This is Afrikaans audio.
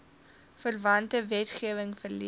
verwante wetgewing verleen